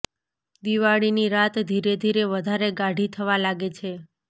દિવાળીની રાત ધીરે ધીરે વધારે ગાઢી થવા લાગે છે